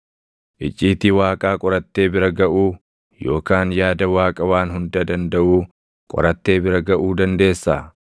“Icciitii Waaqaa qorattee bira gaʼuu yookaan yaada Waaqa Waan Hunda Dandaʼuu qorattee bira gaʼuu dandeessaa?